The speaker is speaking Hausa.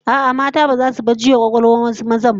A'a, mata baza su bar juya kwakwalwan wasu mazan ba